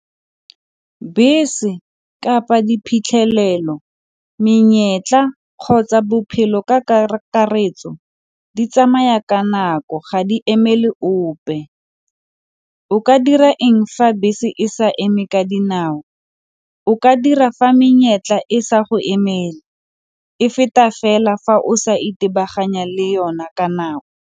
Bese kapa diphitlhelelo, menyetla kgotsa bophelo ka kakaretso di tsamaya ka nako ga di eme le ope. O ka dira eng fa bese e sa eme ka dinao, o ka dira fa menyetla e sa go emele e feta fela fa o sa itebaganya le yona ka nako.